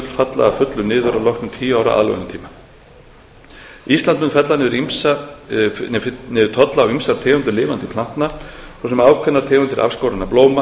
falla að fullu niður að loknum tíu ára aðlögunartíma ísland mun fella niður tolla á ýmsar tegundir lifandi plantna svo sem ákveðnar tegundir afskorinna blóma